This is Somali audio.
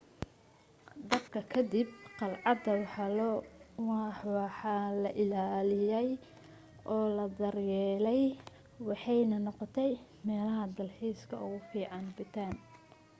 dabka ka dib qalcadda waa la ilaaliyay oo la daryeelay waxaanay noqotay meelaha dalxiiska ee ugu fiican bhutan